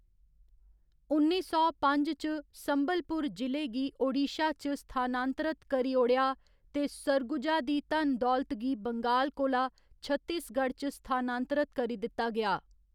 उन्नी सौ पंज च, संबलपुर जि'ले गी ओडिशा च स्थानांतरत करी ओड़ेआ ते सरगुजा दी धन दौलत गी बंगाल कोला छत्तीसगढ़ च स्थानांतरत करी दित्ता गेआ।